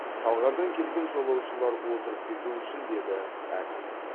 талғардан келген жолаушылар отырып кетуі үшін деді әкім